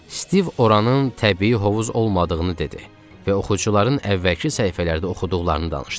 Stiv oranın təbii hovuz olmadığını dedi və oxucuların əvvəlki səhifələrdə oxuduqlarını danışdı.